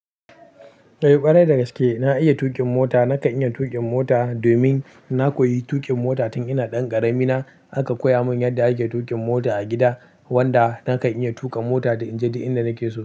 Kai parai da gaske na iya tuƙin mota. Na kan iya tuƙin mota domin na koyi tuƙin mota tun ina ɗan ƙarami na. An koya mun yadda ake tuƙin mota a gida, wanda na kan iya tuƙa mota da inje duk inda nake so.